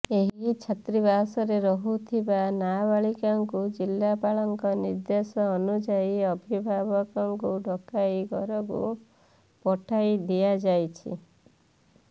ଏହି ଛାତ୍ରୀବାସରେ ରହୁଥିବା ନାବାଳିକାଙ୍କୁ ଜିଲ୍ଲାପାଳଙ୍କ ନିର୍ଦ୍ଦେଶ ଅନୁଯାୟୀ ଅଭିଭାବକଙ୍କୁ ଡକାଇ ଘରୁକୁ ପଠାଇ ଦିଆଯାଇଛି